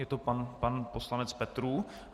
Je to pan poslanec Petrů.